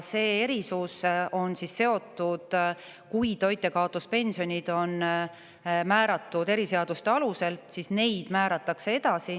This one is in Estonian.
Nimelt, kui toitjakaotuspensionid on määratud eriseaduste alusel, siis neid määratakse edasi.